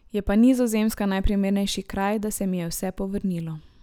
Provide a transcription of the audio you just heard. Je pa Nizozemska najprimernejši kraj, da se mi je vse povrnilo.